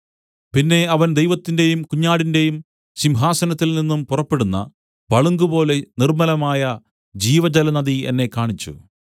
പിന്നെ അവൻ ദൈവത്തിന്റെയും കുഞ്ഞാടിന്റെയും സിംഹാസനത്തിൽ നിന്നും പുറപ്പെടുന്ന പളുങ്കുപോലെ നിർമ്മലമായ ജീവജലനദി എന്നെ കാണിച്ചു